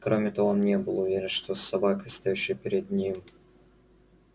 кроме того он не был уверен что с собакой стоявшей перед ним